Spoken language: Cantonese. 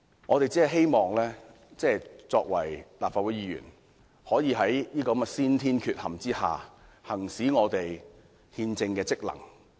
我們身為立法會議員，只是希望能夠在這種先天缺陷下，行使我們的憲政職能。